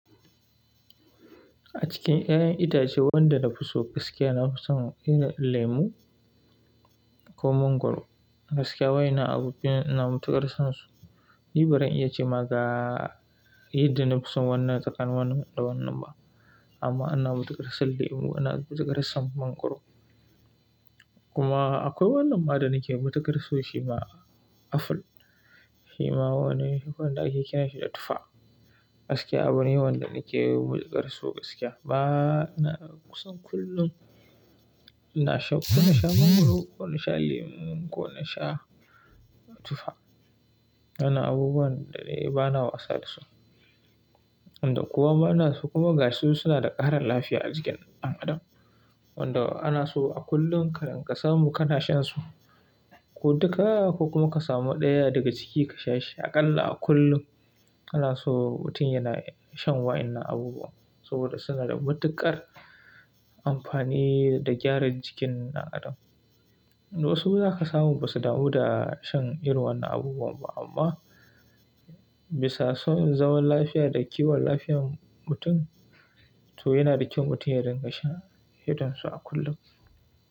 A cikin ƴaƴan itace wanda na fi so gaskiya, na fi son irin lemu ko mangwaro. Gaskiya wa'ennan abubuwa ina matuƙar son su. Ni bazan iya ce ma ga yadda na fi son wannan tsakanin wannan da wannan ba. Amma ana matuƙar son lemu, ana matuƙar son mangwaro. Kuma akwai wannan ma da nake matuƙar so shi ma, aful. Shi ma wani wanda ake kiran shi da tufa. Gaskiya abun yawan da nake matuƙar so gaskiya. Ba, na son kullum ina sha, ko na sha mangwaro ko na sha lemu ko na sha tufa. Wannan abubuwan da na yi bana wasa da su. Wanda kowa ma na so kuma gashi su suna da ƙaran lafiya a jikin ɗan adam. Wanda ana so a kullum ka rinƙa samu kana shan su. Ko duka ko kuma ka samu ɗaya daga ciki ka sha shi aƙalla a kullum. Ana so mutum yana shan wa'innan abubuwan saboda suna da matuƙar amfani da gyaran jikin ɗan adam. Wasu za ka samu ba su damu da shan irin wannan abubuwan ba amma bisa son zaman lafiya da kiwon lafiyar mutum to yana da kyau mutum ya rinƙa sha hidansu a kullum.